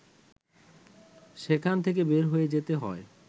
সেখান থেকে বের হয়ে যেতে হয়